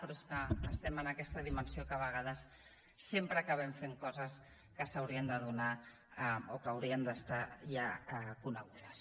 però és que estem en aquesta dimensió que a vegades sempre acabem fent coses que s’haurien de donar o que haurien d’estar ja conegudes